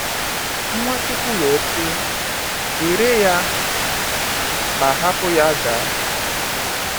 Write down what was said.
Nwachukwu wee sị: “Were ya ma hapụ ya gaa.”